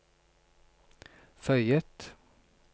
føyet